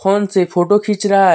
Phone से photo खींच रहा है।